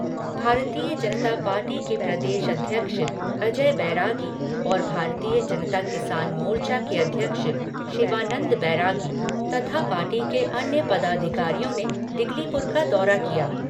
भारतीय जनता पार्टी के प्रदेश अध्यक्ष अजय बैरागी और भारतीय जनता किसान मोर्चा के अध्यक्ष शिवानन्द बैरागी तथा पार्टी के अन्य पदाधिकारियों ने डिगलीपुर का दौरा किया।